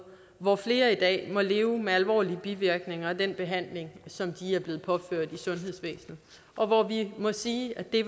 hvor flere i dag må leve med alvorlige bivirkninger af den behandling som de er blevet påført i sundhedsvæsenet og hvor vi må sige at det